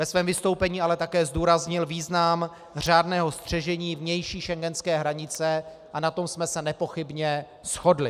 Ve svém vystoupení ale také zdůraznil význam řádného střežení vnější schengenské hranice a na tom jsme se nepochybně shodli.